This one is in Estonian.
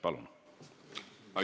Palun!